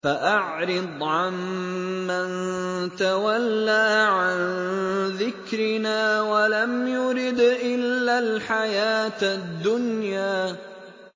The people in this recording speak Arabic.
فَأَعْرِضْ عَن مَّن تَوَلَّىٰ عَن ذِكْرِنَا وَلَمْ يُرِدْ إِلَّا الْحَيَاةَ الدُّنْيَا